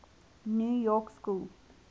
new york school